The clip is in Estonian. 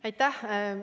Aitäh!